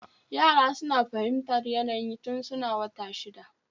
Yara suna fahimtar yanayi tun suna wata shida